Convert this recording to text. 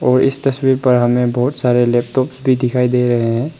इस तस्वीर पर हमें बहुत सारे लैपटॉप्स भी दिखाई दे रहे हैं।